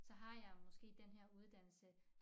Så har måske den her uddannelse